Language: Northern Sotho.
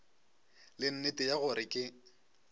le nnete ya gore ke